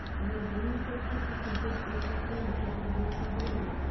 олар бір мың төрт жүз тоқсан төрт отбасының мүшесі болып табылады